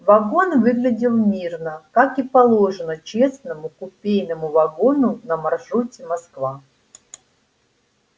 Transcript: вагон выглядел мирно как и положено честному купейному вагону на маршруте москва